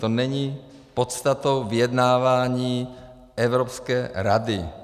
To není podstatou vyjednávání Evropské rady.